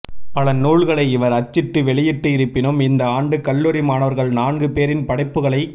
பல நூல்களை இவர் அச்சிட்டு வெளியிட்டு இருப்பினும் இந்த ஆண்டு கல்லூரி மாணவர்கள் நான்கு பேரின் படைப்புகளை